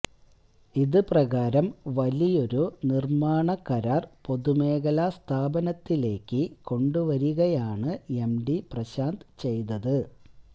ഇത് പ്രകാരം വലിയൊരു നിർമ്മാണ കരാർ പൊതുമേഖലാ സ്ഥാപനത്തിലേക്ക് കൊണ്ടുവരികയാണ് എംഡി പ്രശാന്ത് ചെയ്തത്